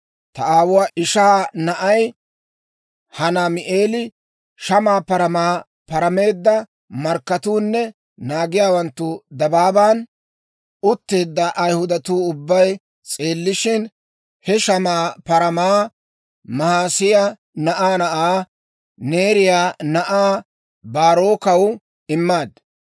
Ta aawuwaa ishaa na'ay Hanaami'eeli, shamaa paramaa parameedda markkatuunne naagiyaawanttu dabaaban utteedda Ayihudatuu ubbay s'eellishshin, he shamaa paramaa Mahiseeya na'aa na'aa, Neeriyaa na'aa Baarookkaw immaad.